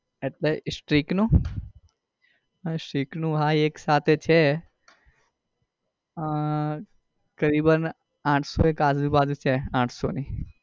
એટલે stirke નું હા stirke નું હા એક સાથે છે અ કરિબન આઠસો એક આજુબાજુ છે આઠસો ની.